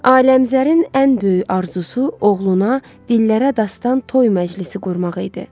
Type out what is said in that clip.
Aləmqəzərin ən böyük arzusu oğluna dillərə dastanı toy məclisi qurmaq idi.